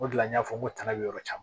O de la n y'a fɔ n ko tana bɛ yɔrɔ min na